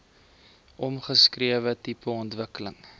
omskrewe tipe ontwikkeling